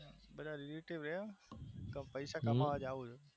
એ તો wish છે પણ પૈસા કમાવા જવું